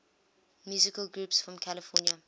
musical groups from california